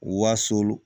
Wasolon